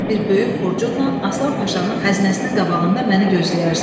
Sən də bir böyük xurcunla Aslan Paşanın xəzinəsinin qabağında məni gözləyərsən.